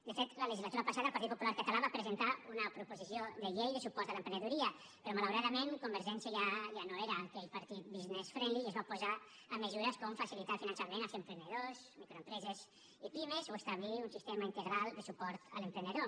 de fet la legislatura passada el partit popular català va presentar una proposició de llei de suport a l’emprenedoria però malauradament convergència ja no era aquell partit business friendly i es va posar amb mesures com facilitar el finançament als emprenedors microempreses i pimes o establir un sistema integral de suport a l’emprenedor